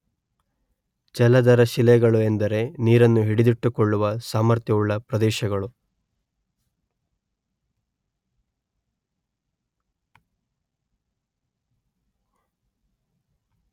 ಜಲಧರ ಶಿಲೆಗಳು ಎಂದರೆ ನೀರನ್ನು ಹಿಡಿದಿಟ್ಟುಕೊಳ್ಳುವ ಸಾಮರ್ಥ್ಯವುಳ್ಳ ಪ್ರದೇಶಗಳು